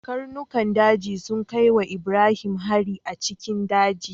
Karnukan daji sun kai wa Ibrahim hari a cikin daji.